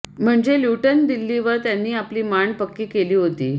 म्हणजे ल्युटन दिल्लीवर त्यांनी आपली मांड पक्की केली होती